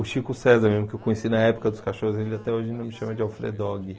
O Chico César mesmo, que eu conheci na época dos cachorros, ele até hoje ainda me chama de Alfredogue.